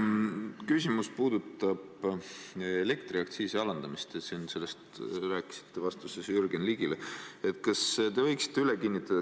Mu küsimus puudutab elektriaktsiisi alandamist, te rääkisite sellest Jürgen Ligile vastates.